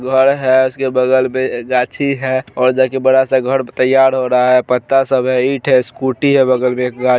घर है उसके बगल में गाछी है और जाके बड़ा सा घर तैयार हो रहा है पत्ता सब है ईंट है स्कूटी है बगल में --